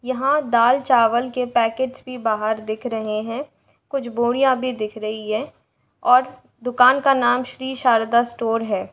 यहाँं दाल चावल के पैकेट्स भी बाहर दिख रहे हैं। कुछ बोरियां भी दिख रही हैं और दुकान का नाम श्री शारदा स्टोर है।